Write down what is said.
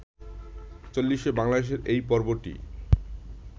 চল্লিশে বাংলাদেশের এই পর্বটি